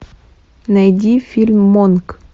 найди фильм монк